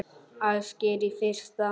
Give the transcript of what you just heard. Ásgeir: Í fyrsta?